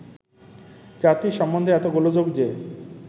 জাতি সম্বন্ধে এত গোলযোগ যে